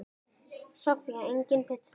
Soffía: Engin pizza.